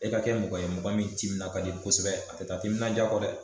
E ka kɛ mɔgɔ ye mɔgɔ min timinan ka di kosɛbɛ a te taa timinanja kɔ dɛ